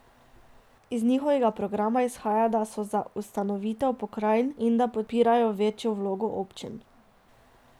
Iz njihovega program izhaja, da so za ustanovitev pokrajin in da podpirajo večjo vlogo občin.